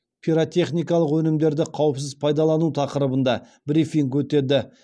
пиротехникалық өнімдерді қауіпсіз пайдалану тақырыбында брифинг өтеді